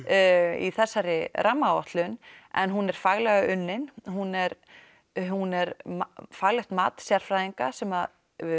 í þessari rammaáætlun en hún er faglega unnin hún er hún er faglegt mat sérfræðinga sem